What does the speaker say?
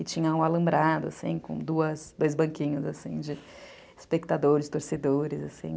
E tinha um alambrado, assim, com dois banquinhos, assim, de espectadores, torcedores, assim.